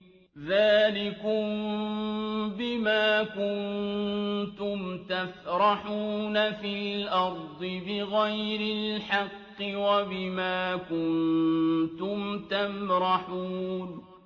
ذَٰلِكُم بِمَا كُنتُمْ تَفْرَحُونَ فِي الْأَرْضِ بِغَيْرِ الْحَقِّ وَبِمَا كُنتُمْ تَمْرَحُونَ